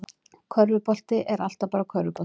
Körfubolti er alltaf bara körfubolti